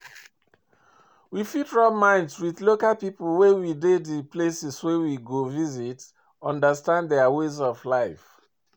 We fit rub mind with local people wey dey di places wey we visit understand their ways of life